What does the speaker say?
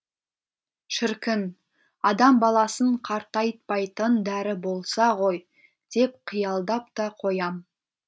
шіркін адам баласын қартайтпайтын дәрі болса ғой деп қиялдап та қоям